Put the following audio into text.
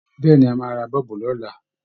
Bẹ́ẹ̀ ni, a máa ra bọ́ọ̀bù bọ̀ lọ́la